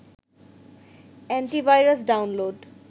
anti virus download